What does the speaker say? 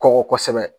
Kɔkɔ kosɛbɛ